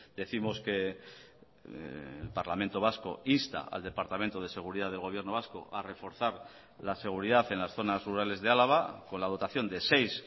décimos que el parlamento vasco insta al departamento de seguridad del gobierno vasco a reforzar la seguridad en las zonas rurales de álava con la dotación de seis